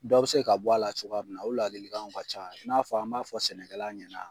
Dɔ be se ka bɔ a la cogoya min na, o ladilikanw ka ca i n'a fɔ an b'a fɔ sɛnɛkɛla ɲɛna